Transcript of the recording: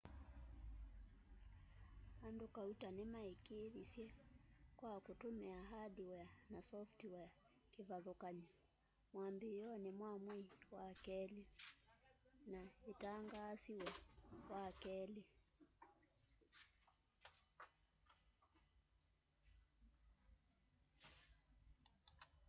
andu kauta nimaikiithisye kwa kutumia hardware na software kivathukany'o mwambiioni wa mwei wa keli na inatangaasiwe wakeli